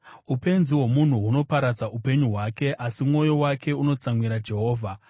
Upenzi hwomunhu hunoparadza upenyu hwake, asi mwoyo wake unotsamwira Jehovha.